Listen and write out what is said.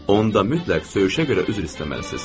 Onda mütləq söyüşə görə üzr istəməlisiniz.